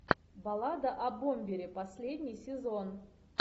баллада о бомбере последний сезон